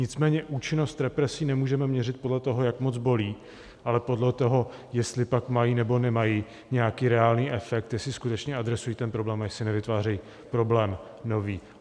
Nicméně účinnost represí nemůžeme měřit podle toho, jak moc bolí, ale podle toho, jestli pak mají, nebo nemají nějaký reálný efekt, jestli skutečně adresují ten problém a jestli nevytvářejí problém nový.